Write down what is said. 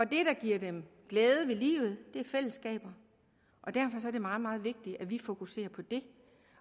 det der giver dem glæde ved livet er fællesskaber og derfor er det meget meget vigtigt at vi fokuserer på det